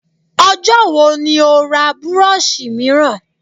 Ọjọ́ wo ni ó ra burọ̀ṣì mìíràn?